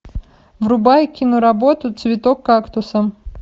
врубай киноработу цветок кактуса